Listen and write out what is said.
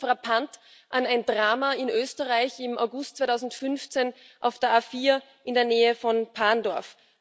Das erinnert frappant an ein Drama in Österreich im August 2015 auf der A4 in der Nähe von Parndorf.